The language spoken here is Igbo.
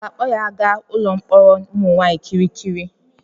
A ga-akpọ ya aga ụlọ mkpọrọ ụmụ nwaanyị Kirikiri?